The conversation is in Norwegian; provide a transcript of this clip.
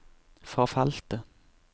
forfalte